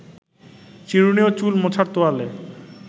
চিরুনি ও চুল মোছার তোয়ালে